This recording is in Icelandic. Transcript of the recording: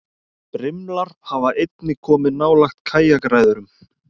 Brimlar hafa einnig komið nálægt kajakræðurum.